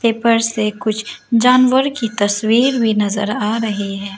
Paper से कुछ जानवर की तस्वीर भी नजर आ रही है।